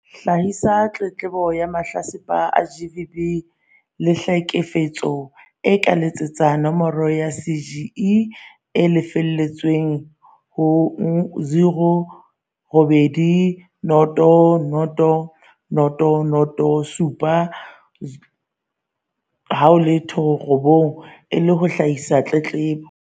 Hlahisa tletlebo ya haoMahlatsipa a GBV le tlheke fetso a ka letsetsa nomoro ya CGE e sa lefellweng ho 0800 007 709 e le ho hlahisa tletlebo.